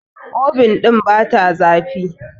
obin ɗin bata zafi